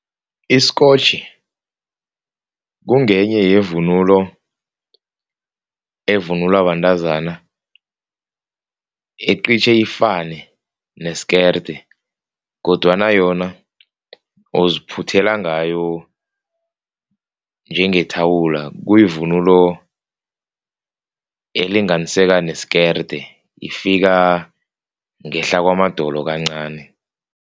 Isikotjhi kungenye yevunulo evunulwa bantazana. Iqitjhe ifane neskerde kodwana yona uziphuthela ngayo njengethawula. Kuyivunulo elinganiseka nesikerde, ifika ngehla kwamadolo kancani.